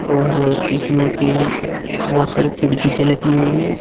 और इसमें की बहुत सारी खिड़की सी लगी हैं ये।